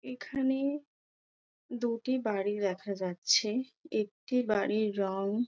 এখানে দুটি বাড়ি দেখা যাচ্ছে একটি বাড়ির রং--